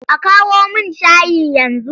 A kawo min shayi yanzu!